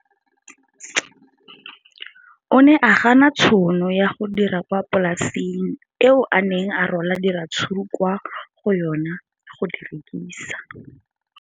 O ne a gana tšhono ya go dira kwa polaseng eo a neng rwala diratsuru kwa go yona go di rekisa.